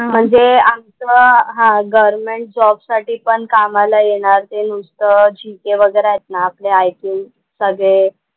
म्हणजे आमचा हा गव्हर्नमेंट जॉब साठी पण कामाला येणार ते नुसतं GK वगैरे आहेत ना आपले IQ सगळे,